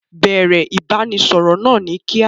Bẹ̀ẹ̀rẹ̀ ìbánisọọ̀rọ̀ náà ni kíá.